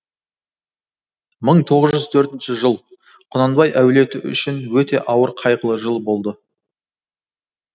мың тоғыз жүз төртінші жыл құнанбай әулеті үшін өте ауыр қайғылы жыл болды